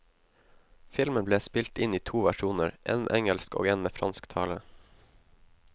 Filmen ble spilt inn i to versjoner, en med engelsk og en med fransk tale.